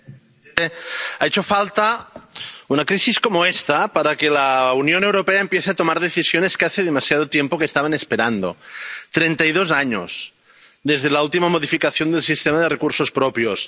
Señor presidente, ha hecho falta una crisis como esta para que la Unión Europea empiece a tomar decisiones que hace demasiado tiempo que se estaban esperando —treinta y dos años desde la última modificación del sistema de recursos propios—.